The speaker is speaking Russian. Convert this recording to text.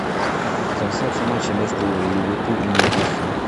трансляция матча между ливерпуль и ньюкасл